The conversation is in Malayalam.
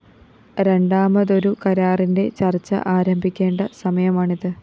രണ്ടാമതൊരു കരാറിന്റെ ചര്‍ച്ച ആരംഭിക്കേണ്ട സമയമാണിത്